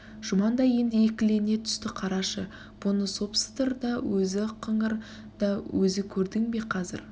жұман да енді екілене түсті қарашы бұны сопсдр да өзі қыңыр да өзі көрдің бе қазір